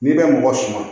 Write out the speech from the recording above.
N'i bɛ mɔgɔ suma